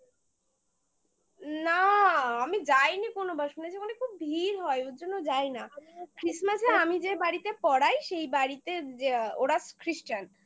না আমি যাইনি কোনো বার শুনেছি মানে খুব ভিড় হয় ওর জন্য যাই না আমিও যাই না christmas -এ আমি যে বাড়িতে পড়াই সেই বাড়িতে ওরা christian